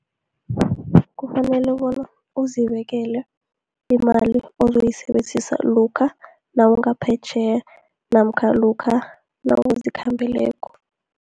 Kufanele bona uzibekele imali ozoyisebenzisa, lokha nawungaphetjheya, namkha lokha nawuzikhambeleko.